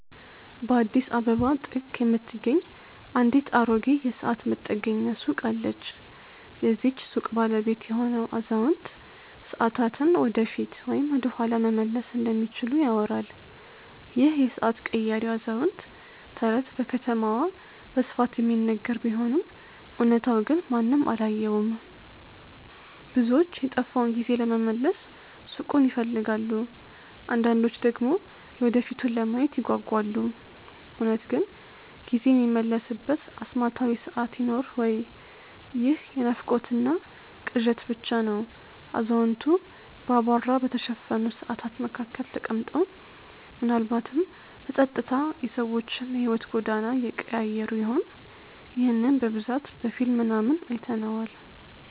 በአዲስ አበባ ጥግ የምትገኝ አንዲት አሮጌ የሰዓት መጠገኛ ሱቅ አለች። የዚህች ሱቅ ባለቤት የሆነው አዛውንት፣ ሰዓታትን ወደፊት ወይም ወደኋላ መመለስ እንደሚችሉ ይወራል ይህ የሰዓት ቀያሪው አዛውንት ተረት በከተማዋ በስፋት የሚነገር ቢሆንም እውነታው ግን ማንም አላየውም። ብዙዎች የጠፋውን ጊዜ ለመመለስ ሱቁን ይፈልጋሉ አንዳንዶች ደግሞ የወደፊቱን ለማየት ይጓጓሉ። እውነት ግን ጊዜ የሚመለስበት አስማታዊ ሰዓት ይኖር ወይ ይህ የናፍቆትና ቅዠት ብቻ ነው አዛውንቱ በአቧራ በተሸፈኑ ሰዓታት መካከል ተቀምጠው፣ ምናልባትም በጸጥታ የሰዎችን የሕይወት ጎዳና እየቀያየሩ ይሆን? ይህንን በብዛት በፊልም ምናምን አይተነዋል